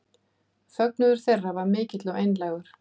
Fögnuður þeirra var mikill og einlægur